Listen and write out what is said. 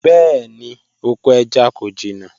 Bẹẹni, oko ẹja ko jina